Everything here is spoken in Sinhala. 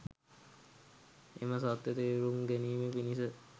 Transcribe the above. එම සත්‍යය තේරුම් ගැනීම පිණිස